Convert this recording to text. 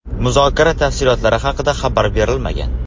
Muzokara tafsilotlari haqida xabar berilmagan.